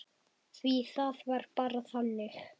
Því það var bara þannig.